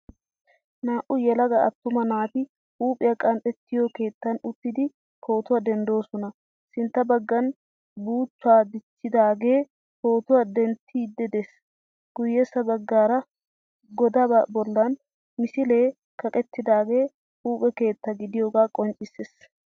Naa'u yelaga attuma naati huuphiya qanxxettiyoo keettan uttidi pootuwaa denddoosona Sintta baggan buuchchaa dichchidaage pootuwa denttiiddi des. Guyyessa baggaara godaa bollan misilee kaqettidaagee huuphe keetta gidiyooga qonccissees.